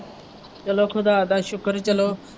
ਚੱਲੋ ਖੁਦਾ ਦਾ ਸ਼ੁਕਰ ਚੱਲੋ